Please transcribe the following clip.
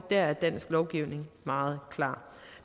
er dansk lovgivning meget klar